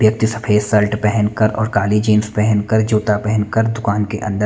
सफ़ेद शर्ट पेहन कर और काली जीन्स पेहन कर जूता पेहन कर दुकान के अंदर--